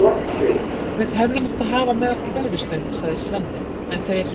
Við hefðum átt að hafa með okkur veiðistöng, sagði Svenni, en þeir